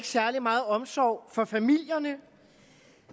særlig meget omsorg for familierne